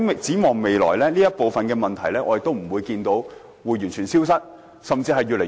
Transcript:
展望未來，我相信這些問題不會完全消失，甚至會越來越多。